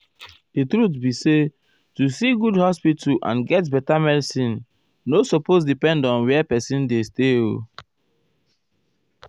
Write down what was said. ---- di truth be say to see good hospital and get beta medicine nor supose depend on where pesin dey stay o.